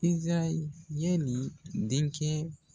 Izirayɛli denkɛ